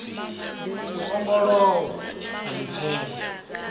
u ongolowa a ḽi pfela